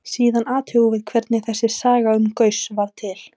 Síðan athugum við hvernig þessi saga um Gauss varð til.